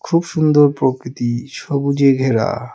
খুব সুন্দর প্রকৃতি সবুজে ঘেরা.